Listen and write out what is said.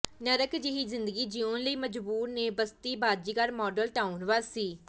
ਨਰਕ ਜਿਹੀ ਜ਼ਿੰਦਗੀ ਜਿਊਣ ਲਈ ਮਜਬੂਰ ਨੇ ਬਸਤੀ ਬਾਜ਼ੀਗਰ ਮਾਡਲ ਟਾਊਨ ਵਾਸੀ